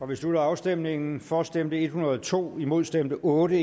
vi slutter afstemningen for stemte en hundrede og to imod stemte otte